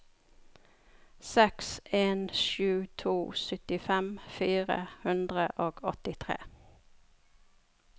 seks en sju to syttifem fire hundre og åttitre